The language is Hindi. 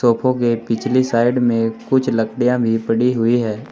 सोफों के पिछली साइड में कुछ लकड़ियां भी पड़ी हुई है।